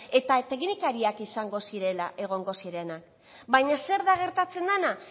eta teknikariak izango zirela egongo zirenak baina zer da gertatzen dena